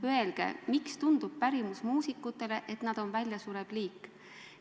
Öelge, miks tundub pärimusmuusikutele, et nad on väljasurev liik.